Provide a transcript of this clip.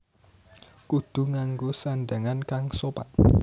Kudu nganggo sandhangan kang sopan